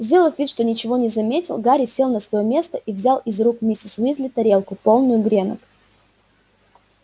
сделав вид что ничего не заметил гарри сел на своё место и взял из рук миссис уизли тарелку полную гренок